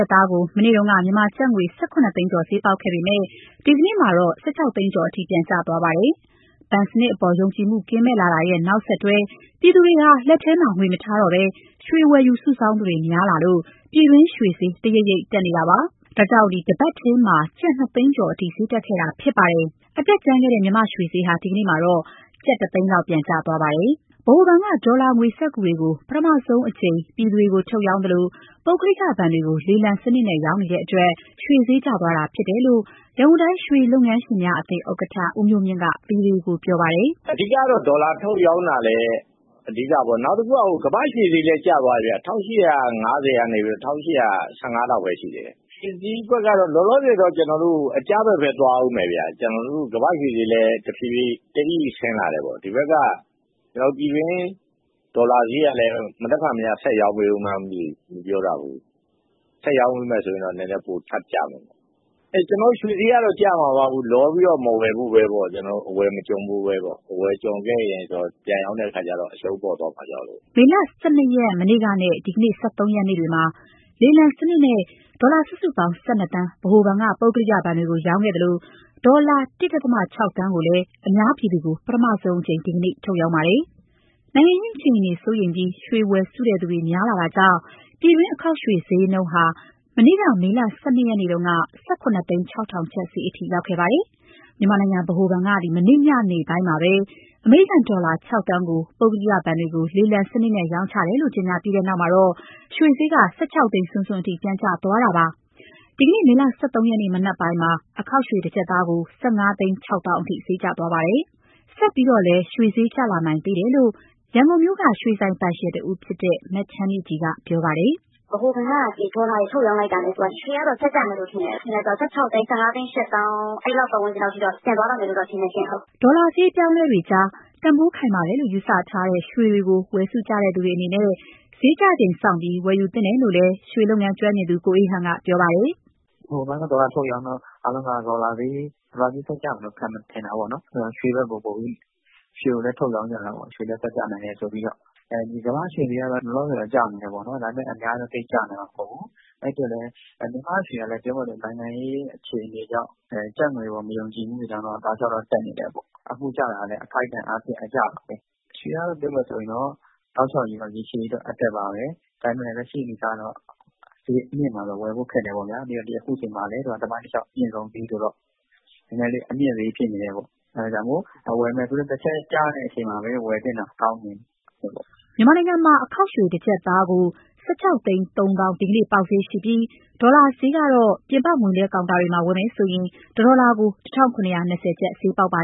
ပ်သားကို မနေ့တုန်းက မြန်မာကျပ်ငွေ ၁၇ သိန်းကျော် ဈေးပေါက်ခဲ့ပေမဲ့ ဒီကနေ့မှာတော့ ၁၆ သိန်းကျော်အထိ ပြန်ကျသွားပါတယ်။ ဘဏ်စနစ်အပေါ် ယုံကြည်မှု ကင်းမဲ့လာတာရဲ့ နောက်ဆက်တွဲ ပြည်သူတွေဟာ လက်ထဲမှာငွေမထားတော့ဘဲ ရွှေဝယ်ယူ စုဆောင်းသူများလာလို့ ပြည်တွင်းရွှေဈေး တရိပ်ရိပ်တက်လာခဲ့တာပါ။ ဒါကြောင့် ၁ ပတ်ထဲမှာ ကျပ် ၂၀၀,၀၀၀ ကျော်အထိ ဈေးတက်ခဲ့တာဖြစ်ပါတယ်။ အတက်ကြမ်းခဲ့တဲ့ မြန်မာ့ရွှေဈေးဟာ ဒီကနေ့မှာတော့ ကျပ် ၁၀၀,၀၀၀ လောက် ပြန်ကျသွားပါတယ်။ ဗဟိုဘဏ်က ဒေါ်လာငွေစက္ကူတွေကို ပထမဆုံးအကြိမ် ပြည်သူတွေကို ထုတ်ရောင်းသလို ပုဂ္ဂလိကဘဏ်တွေကို လေလံစနစ်နဲ့ ရောင်းနေတဲ့အတွက် ရွှေဈေးကျသွားတာဖြစ်တယ်လို့ ရန်ကုန်တိုင်း ရွှေလုပ်ငန်းရှင်များအသင်းဥက္ကဋ္ဌ ဦးမျိုးမြင့်က ဗွီအိုအေကိုပြောပါတယ်။ “အဓိကတော့ ဒေါ်လာထုတ်ရောင်းတာလည်း အဓိကပေါ့။ နောက်တခုက ကမ္ဘာ့ရွှေဈေးလည်း ကျသွားတယ်ဗျ၊ ၁,၈၅၀ ကနေ ၁,၈၁၅ လောက်ပဲရှိတယ်။ ရွှေဈေးကွက်က လောလောဆယ်တော့ အကျဘက်ပဲ သွားဦးမယ်ဗျ။ ကမ္ဘာ့ရွှေဈေးလည်း တအိအိဆင်းလာတယ်ပေါ့၊ ဒီဘက်က ပြည်တွင်းဒေါ်လာဈေးကလည်း မနက်ဖြန်များ ဆက်ရောင်းပေးဦးမလား မသိဘူး၊ မပြောတတ်ဘူး။ ဆက်ရောင်းပေးမယ်ဆိုရင်တော့ ရွှေဈေးနည်းနည်းထပ်ကျမယ်။ ရွှေဈေးကတော့ ကျမှာပါ၊ လောပြီးတော့ အဝယ်မကျွံဖို့ပဲပေါ့။ အဝယ်ကျွံခဲ့ရင်တော့ ပြန်ရောင်းတဲ့အခါကျတော့ အရှုံးပေါ်သွားမှာကြောက်လို့။” မေလ ၁၂ ရက် နဲ့ ဒီနေ့ ၁၃ ရက်မှာ လေလံစနစ်နဲ့ ဒေါ်လာ စုစုပေါင်း ၁၂ သန်း ဗဟိုဘဏ်က ပုဂ္ဂလိကဘဏ်တွေကို ရောင်းခဲ့သလို ဒေါ်လာ ၁.၆ သန်းကိုလည်း အများပြည်သူကို ပထမဆုံးအကြိမ် ဒီနေ့ ထုတ်ရောင်းပါတယ်။ နိုင်ငံရေးအခြေအနေကို စိုးရိမ်ပြီး ရွှေဝယ်စုသူတွေ များလာတာကြောင့် ပြည်တွင်းအခေါက်ရွှေ ဈေးနှုန်းဟာ မနေ့ မေလ ၁၂ ရက်က ၁,၇၀၆,၀၀၀ ကျပ်ဈေးအထိ ရောက်ခဲ့ပါတယ်။ မြန်မာနိုင်ငံဗဟိုဘဏ်က မနေ့ညနေပိုင်းမှာပဲ အမေရိကန်ဒေါ်လာ ၆,၀၀၀,၀၀၀ ကို ပုဂ္ဂလိကဘဏ်တွေကို လေလံစနစ်နဲ့ ရောင်းချတယ်လို့ ကြေညာခဲ့ပြီးနောက် ရွှေဈေးက ၁၆ သိန်း စွန်းစွန်းအထိ ပြန်ကျသွားခဲ့တာပါ။ ဒီနေ့ မေလ ၁၃ရက် မနက်ပိုင်းက အခေါက်ရွှေတကျပ်သားကို ၁,၅၆၀,၀၀၀ အထိဈေးကျခဲ့တာပါ။ ဆက်ပြီးတော့လည်း ရွှေဈေးတွေကျလာနိုင်တယ်လို့ ရန်ကုန်မြို့မှာ ဖွင့်လှစ်ထားတဲ့ ရွှေဆိုင်ပိုင်ရှင်တဦးဖြစ်သူ မချမ်းမြေ့ကြည်က ပြောပါတယ်။ “ဗဟိုဘဏ်က ဒေါ်လာတွေ ထုတ်ရောင်းလိုက်တာနဲ့ ရွှေကတော့ ဆက်ကျမယ်လို့ ထင်တယ်။ ၁,၆၀၀,၀၀၀၊ ၁,၅၈၀,၀၀၀ အဲဒီလောက် ပတ်ဝန်းကျင်တော့ ပြန်သွားလောက်မယ် ထင်တယ်ရှင့်။” ဒေါ်လာဈေး အပြောင်းအလဲတွေကြား တန်ဖိုးခိုင်မာတယ်လို့ ယူဆထားတဲ့ ရွှေတွေကို ဝယ်စုသူတွေအနေနဲ့ ဈေးကျချိန်စောင့်ပြီး ဝယ်ယူသင့်တယ်လို့လည်း ရွှေလုပ်ငန်းကျွမ်းကျင်သူ ကိုအေးဟန်က ပြောပါတယ်။ “ဗဟိုဘဏ်က ဒေါ်လာထုတ်ရောင်းတော့ အားလုံးက ဒေါ်လာဈေး ဆက်ကျမယ်လို့ ထင်တာပေါ့နော်။ အဲဒီတော့ ရွှေဈေးလည်း ဆက်ကျနိုင်တယ်ဆိုပြီးတော့ ရွှေကိုလည်း ထုတ်ရောင်းကြတာပေါ့။ ကမ္ဘာ့ရွှေဈေးကတော့ လောလောဆယ်ကျနေသေးတယ်ပေါ့။ ဒါပေမဲ့ သိပ်တော့ကျနိုင်မှာ မဟုတ်ဘူး။ မြန်မာ့ရွှေကလည်း ပြောမယ်ဆို နိုင်ငံရေးအခြေအနေကြောင့် ကျပ်ငွေအပေါ် မယုံကြည်မှုတွေကြောင့် တောက်လျှောက်တော့ တက်နေတယ်ပေါ့။ အခုကျတာကလည်း အခိုက်အတံ့အားဖြင့် အကျပါပဲ။ ရွှေကတော့ ပြောမယ်ဆိုရင် တောက်လျှောက်ရေရှည်ကတော့ အတက်ပါပဲ။ ဒါပေမဲ့ လက်ရှိအနေအထားကတော့ ဈေးအမြင့်မှာ ဝယ်ဖို့ခက်တယ်ပေါ့ဗျာ။ ပြီးတော့ အခုချိန်မှာလည်း သမိုင်းတလျှောက် အမြင့်ဆုံးဈေးဆိုတော့ နည်းနည်းလေးအမြင့်ဈေး ဖြစ်နေတယ်ပေါ့။ အဲဒါကြောင့် ဝယ်မယ်ဆိုရင်လည်း တချက်ကျတဲ့အချိန်မှာပဲ ဝယ်သင့်တာကောင်းတယ်။” မြန်မာနိုင်ငံမှာ အခေါက်ရွှေ ၁ ကျပ်သားကို ၁,၆၃၀,၀၀၀ ဒီနေ့ ပေါက်ဈေးရှိပြီး ဒေါ်လာဈေးကတော့ ပြင်ပ ငွေလွှဲကောင်တာတွေမှာ ဝယ်မယ်ဆိုရင် တဒေါ်လာကို ၁,၇၂၀ ကျပ် ဈေးပေါက်ပါ